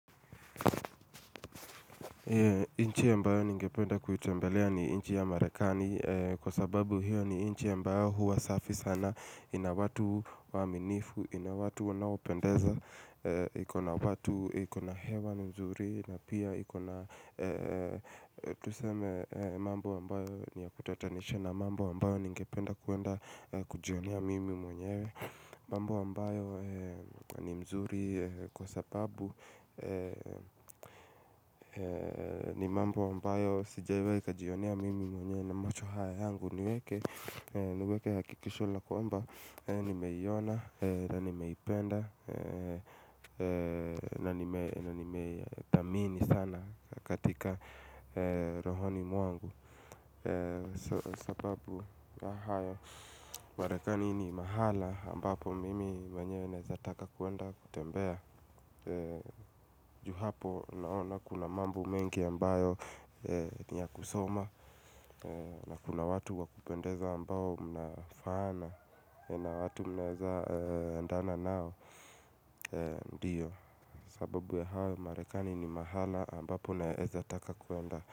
Nchi ambayo ningependa kuitembelea ni nchi ya marekani Kwa sababu hiyo ni inchi ya ambayo huwa safi sana ina watu waaminifu, ina watu wanaopendeza ina watu, ikona hewa nzuri na pia ikona, tuseme mambo ambayo niyakutatanisha na mambo ambayo ningependa kuenda kujionea mimi mwenyewe mambo ambayo ni mazuri Kwa sababu ni mambo ambayo sijiwai kajionia mimi mwenye na macho haya yangu niweke Niweke hakikisho la kwamba nimeiona na nimeipenda na nimetamani sana katika rohoni mwangu Kwa sababu mahali ambapo mimi mwenye naezataka kuenda kutembea juu hapo naona kuna mambo mengi ambayo niya kusoma na kuna watu wa kupendeza ambayo mnafaana na watu mnaezandana nao Ndiyo, sababu ya hao marekani ni mahali ambapo naeza taka kuenda.